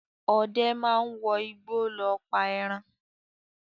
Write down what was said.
Ọdẹ máa ń wọ igbó lọ pa ẹran.